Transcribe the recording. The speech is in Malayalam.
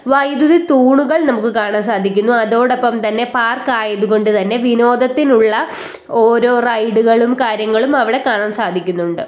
വൈദ്യുതി തൂണുകൾ നമുക്ക് കാണാൻ സാധിക്കുന്നു അതോടൊപ്പം തന്നെ പാർക്ക് ആയതുകൊണ്ട് തന്നെ വിനോദത്തിനുള്ള ഓരോ റൈഡുകളും കാര്യങ്ങളും അവിടെ കാണാൻ സാധിക്കുന്നുണ്ട്.